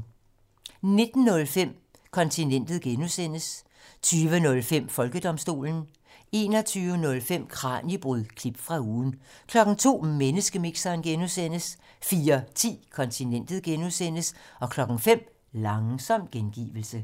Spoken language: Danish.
19:05: Kontinentet (G) 20:05: Folkedomstolen 21:05: Kraniebrud – klip fra ugen 02:00: Menneskemixeren (G) 04:10: Kontinentet (G) 05:00: Langsom gengivelse